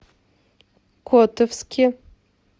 котовске